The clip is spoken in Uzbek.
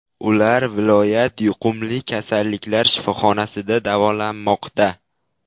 Ular viloyat yuqumli kasalliklar shifoxonasida davolanmoqda.